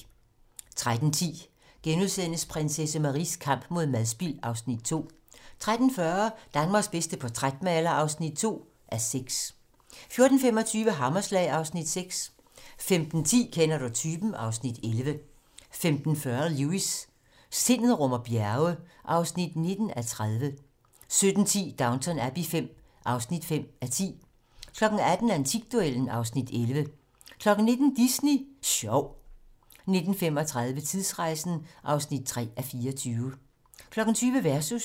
13:10: Prinsesse Maries kamp mod madspild (Afs. 2)* 13:40: Danmarks bedste portrætmaler (2:6) 14:25: Hammerslag (Afs. 6) 15:10: Kender du typen? (Afs. 11) 15:40: Lewis: Sindet rummer bjerge (19:30) 17:10: Downton Abbey V (5:10) 18:00: Antikduellen (Afs. 11) 19:00: Disney Sjov 19:35: Tidsrejsen (3:24) 20:00: Versus